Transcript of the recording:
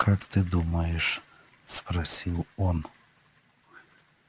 как ты думаешь спросил он